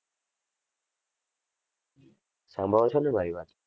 સાંભળો છો ને મારી વાત.